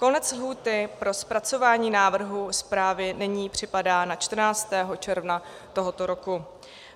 Konec lhůty pro zpracování návrhů zprávy nyní připadá na 14. června tohoto roku.